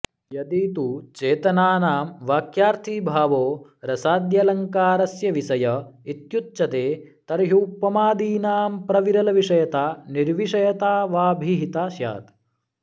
यदि तु चेतनानां वाक्यार्थीभावो रसाद्यलङ्कारस्य विषय इत्युच्यते तर्ह्युपमादीनां प्रविरलविषयता निर्विषयता वाभिहिता स्यात्